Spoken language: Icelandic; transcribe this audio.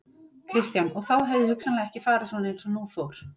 Kristján: Og þá hefði hugsanlega ekki farið svona eins og nú fór?